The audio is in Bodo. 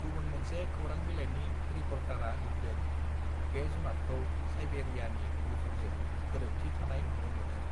गुबुन मोनसे खोरां बिलायनि रिपर्टारआ लिरदों बे जुनातखौ साइबेरियानि मुफुरजों गोरोबथि थानाय नुनो मोनो